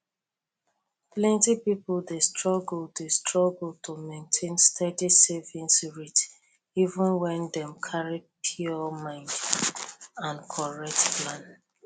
plenty people dey struggle dey struggle to maintain steady savings rate even wen dem carry pure mind and correct plan